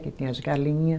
Que tem as galinha